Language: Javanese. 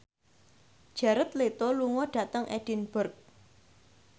Jared Leto lunga dhateng Edinburgh